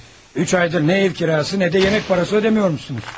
Üç aydır nə ev kirası, nə də yemək parası ödəmirmişsiniz.